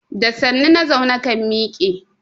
Da sannu na zaune kan miƙe.